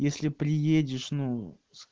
если приедешь ну